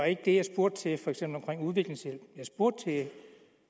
ikke det jeg spurgte til for eksempel omkring udviklingshjælp